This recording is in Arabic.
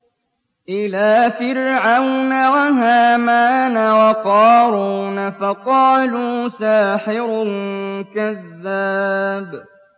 إِلَىٰ فِرْعَوْنَ وَهَامَانَ وَقَارُونَ فَقَالُوا سَاحِرٌ كَذَّابٌ